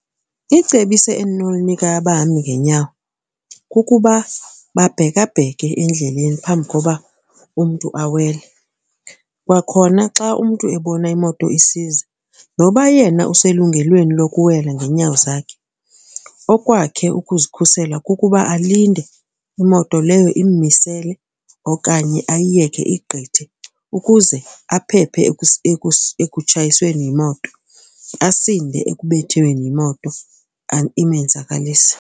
Icebiso endinolinika abahambi ngenyawo kukuba babhekabheke endleleni phambi koba umntu awele. Kwakhona xa umntu ebona imoto isiza noba yena uselungelweni lokuwela ngeenyawo zakhe okwakhe ukuzikhusela kukuba alinde imoto leyo immisele okanye ayiyeke igqithe ukuze aphephe ekutshayisweni yimoto, asinde ekubethweni yimoto imenzakalise.